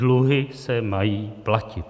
Dluhy se mají platit.